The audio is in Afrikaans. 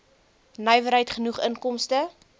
nywerheid genoeg inkomste